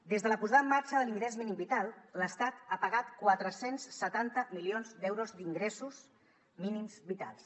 des de la posada en marxa de l’ingrés mínim vital l’estat ha pagat quatre cents i setanta milions d’euros d’ingressos mínims vitals